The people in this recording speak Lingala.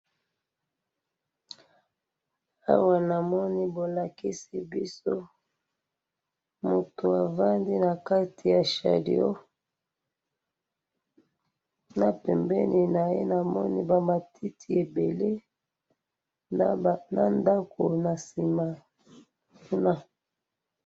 Awa na moni mutu afandi na kati ya chariot, na ngambo kuna ba matiti ebele.